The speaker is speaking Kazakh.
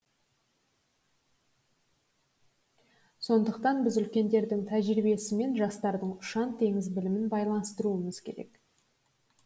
сондықтан біз үлкендердің тәжірибесі мен жастардың ұшан теңіз білімін байланыстыруымыз керек